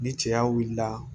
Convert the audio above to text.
Ni cɛya wulila